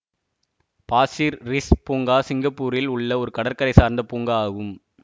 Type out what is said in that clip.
Pasir Ris பூங்கா சிங்கப்பூரில் உள்ள ஒரு கடற்கரை சார்ந்த பூங்கா ஆகும்